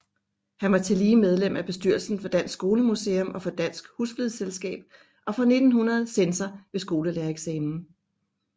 Han var tillige medlem af bestyrelsen for Dansk Skolemuseum og for Dansk Husflidsselskab og fra 1900 censor ved skolelærereksamen